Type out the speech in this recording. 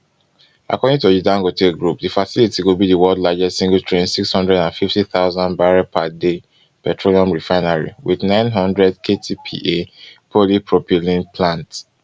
according to di dangote group di facility go be di world largest singletrain six hundred and fifty thousand barrels per day petroleum refinery with nine hundred ktpa polypropylene plant